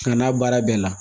Nka n'a baara bɛɛ la